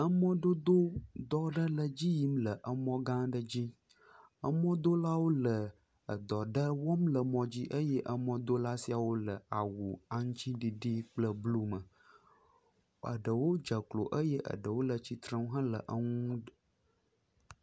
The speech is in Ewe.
emɔdodo dɔ ɖe le dziyim le mɔdodo gã ɖe dzi emɔdolawo le edɔ ɖe wɔm le mɔdzi eye emɔdola siawo le awu aŋtsiɖiɖi kple blu me eɖewo dzeklo eye eɖewo le tsitre hele eŋu